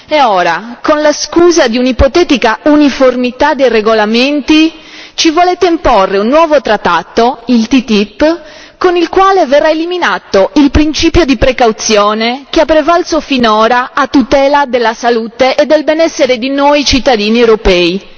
E ora, con la scusa di un'ipotetica uniformità dei regolamenti, ci volete imporre un nuovo trattato, il TTIP, con il quale verrà eliminato il principio di precauzione che ha prevalso finora a tutela della salute e del benessere di noi cittadini europei.